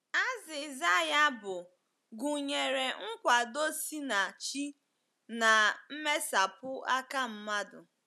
Azịza ya bụ gụnyere nkwado si na Chi na mmesapụ aka mmadụ.